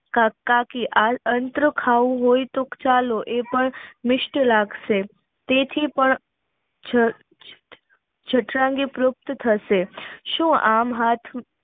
કાકી આ અત્ર ખાવું હોય તો ચાલો એ પણ મિસ્ત લાગશે તેથી પણ જઠરાંગ ટ્રિયોટ થશે થશે સુ આમ હાથ